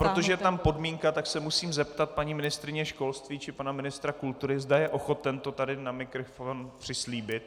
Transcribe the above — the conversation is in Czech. Protože je tam podmínka, tak se musím zeptat paní ministryně školství či pana ministra kultury, zda je ochoten to tady na mikrofon přislíbit.